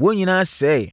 wɔn nyinaa sɛeɛ.